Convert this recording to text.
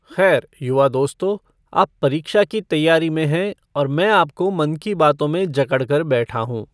ख़ैर, युवा दोस्तो, आप परीक्षा की तैयारी में हैं और मैं आपको मन की बातों में जकड़ कर बैठा हूँ।